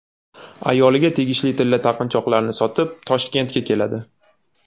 Ayoliga tegishli tilla taqinchoqlarni sotib, Toshkentga keladi.